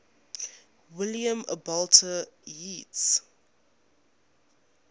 william butler yeats